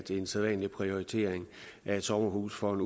en sædvanlig prioritering af et sommerhus for en